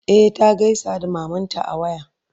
e ta gaisa da mamanta a waya.